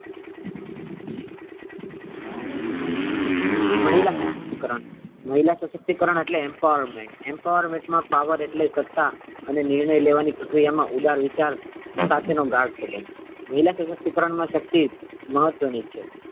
મહિલા સશક્તિકરણ મહિલા સશક્તિકરણ એટલે empowerment empowerment મા power એટલે સત્તા અને નિર્ણય લેવાની પ્રક્રિયા મા ઉદાર વિચાર સાથે નો ગાઢ સબંધ મહિલા સશક્તિકરણ મા શક્તિ મહત્વ ની છે.